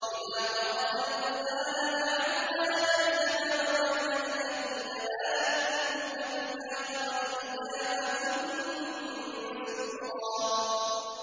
وَإِذَا قَرَأْتَ الْقُرْآنَ جَعَلْنَا بَيْنَكَ وَبَيْنَ الَّذِينَ لَا يُؤْمِنُونَ بِالْآخِرَةِ حِجَابًا مَّسْتُورًا